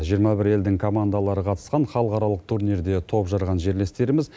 жиырма бір елдің командалары қатысқан халықаралық турнирде топ жарған жерлестеріміз